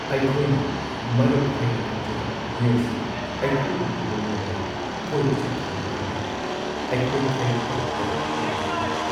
ꯑꯩꯈꯣꯏꯅ ꯃꯔꯨꯞ ꯍꯥꯢꯅ ꯀꯧꯖꯕ ꯃꯤꯑꯣꯏꯁꯤꯡꯅ ꯑꯩꯈꯣꯏꯕꯨ ꯍꯨꯟꯗꯣꯛꯂꯝꯂꯒ ꯀꯣꯏꯕ ꯆꯠꯈꯤꯕ ꯃꯇꯝꯗ ꯑꯩꯈꯣꯏꯈꯩ ꯇꯔꯛ-ꯇꯔꯛ ꯍꯥꯡꯕ ꯐꯥꯎꯈꯤ ꯫